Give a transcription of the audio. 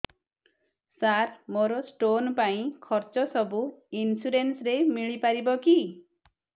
ସାର ମୋର ସ୍ଟୋନ ପାଇଁ ଖର୍ଚ୍ଚ ସବୁ ଇନ୍ସୁରେନ୍ସ ରେ ମିଳି ପାରିବ କି